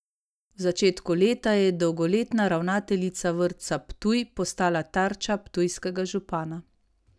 V začetku leta je dolgoletna ravnateljica Vrtca Ptuj postala tarča ptujskega župana.